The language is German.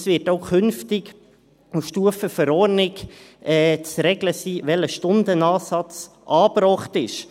Es wird auch künftig auf Stufe Verordnung zu regeln sein, welcher Stundenansatz angebracht ist.